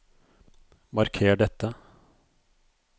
Marker dette